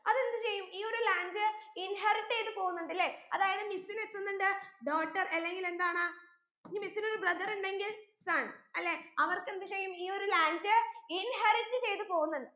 അതെന്ത് ചെയ്യും ഈ ഒരു land inherit ചെയ്ത് പോകുന്നുണ്ട് ല്ലെ അതായത് miss ന് എത്തുന്നുണ്ട് daughter അല്ലെങ്കിൽ എന്താണ് ഇനി miss നൊരു brother ഉണ്ടെങ്കിൽ son അല്ലെ അവർക്ക് എന്ത് ചെയ്യും ഈ ഒരു landinherit ചെയ്ത് പോവുന്നുണ്ട്